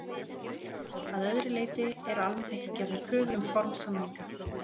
Að öðru leyti eru almennt ekki gerðar kröfur um form samninga.